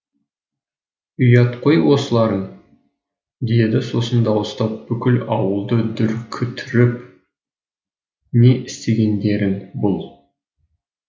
ұят қой осыларың деді сосын дауыстап бүкіл ауылды дүркітіріп не істегендерің бұл